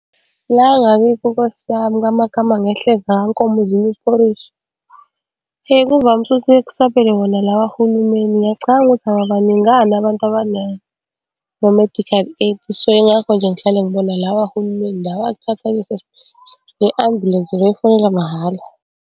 La ngakithi nkosiyami kwamakama ngehleza kwankomo zinya uphorishi, kuvamise ukuthi kuyeke kusabele wona la kahulumeni. Ngiyacabanga ukuthi ababaningana abantu abanama-medical aid, so, yingakho nje ngihlale ngibona lawa hulumeni lawa akuthatha , le ambulensi le efonelwa mahhala.